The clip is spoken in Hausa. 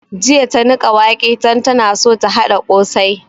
Jiya ta niƙa wake don tana so ta haɗa ƙosai